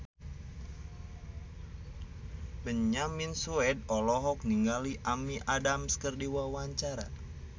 Benyamin Sueb olohok ningali Amy Adams keur diwawancara